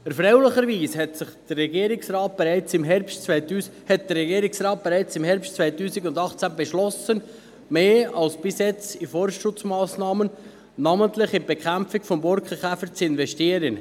Erfreulicherweise beschloss der Regierungsrat bereits im Herbst 2018, mehr als bisher in Forstschutzmassnahmen, namentlich in die Bekämpfung des Borkenkäfers, zu investieren.